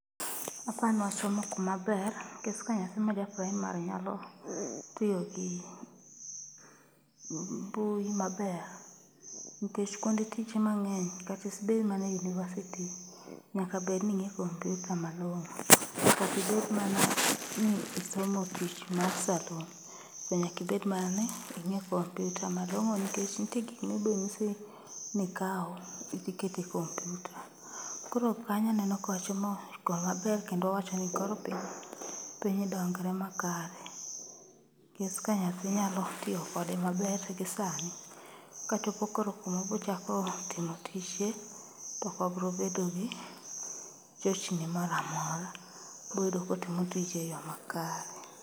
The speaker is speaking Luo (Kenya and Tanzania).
Apani wachomo kuma ber nkech ka nyathi ma ja praimari nyalo tiyo gi mbui maber, nkech kuonde tich mang'eny kata ibed manae yunivasiti nyakibedni ing'e kompyuta malong'o. Makata ibed mana ni isomo tich mar salun, be nyakibed mani ing'e kompyuta malong'o nikech ntie gik mibonyisi nikaw idhi ket e kompyuta. Koro kanyaneno kwachomo komaber kendo wachoni koro piny dongre makare. Nkech ka nyathi nyalo tiyo kode maber gi sani, kachopo koro kumobrochako timo tije tokobrobedo gi chochni moramora. Ibroyudo kotimo tichno e yo makare.